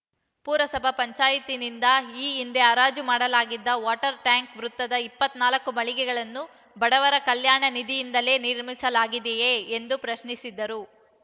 ಪಪಂನಿಂದ ಈ ಹಿಂದೆ ಹರಾಜು ಮಾಡಲಾಗಿದ್ದ ವಾಟರ್‌ ಟ್ಯಾಂಕ್‌ ವೃತ್ತದ ಇಪ್ಪತ್ತ್ ನಾಲ್ಕು ಮಳಿಗೆಗಳನ್ನು ಬಡವರ ಕಲ್ಯಾಣ ನಿಧಿಯಿಂದಲೇ ನಿರ್ಮಿಸಲಾಗಿದೆಯೇ ಎಂದು ಪ್ರಶ್ನಿಸಿದರು